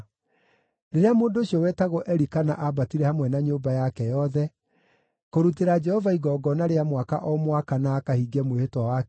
Rĩrĩa mũndũ ũcio wetagwo Elikana aambatire hamwe na nyũmba yake yothe kũrutĩra Jehova igongona rĩa mwaka o mwaka na akahingie mwĩhĩtwa wake-rĩ,